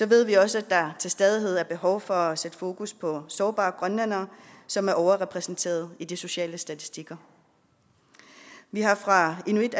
ved vi også at der til stadighed er behov for at sætte fokus på sårbare grønlændere som er overrepræsenteret i de sociale statistikker vi har fra inuit